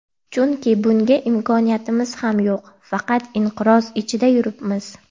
Chunki bunga imkoniyatimiz ham yo‘q, faqat inqiroz ichida yuribmiz.